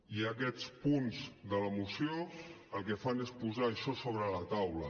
i aquests punts de la moció el que fan és posar això sobre la taula